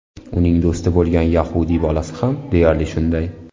Uning do‘sti bo‘lgan yahudiy bolasi ham deyarli shunday.